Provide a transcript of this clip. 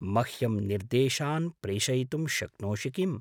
मह्यं निर्देशान् प्रेषयितुं शक्नोषि किम्?